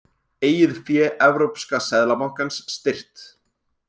Eigið fé Evrópska seðlabankans styrkt